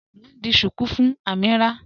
Mọ̀ n ḍì shuku fún Amīrah